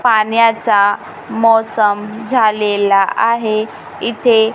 पाण्याचा मोसम झालेला आहे इथे--